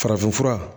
Farafinfura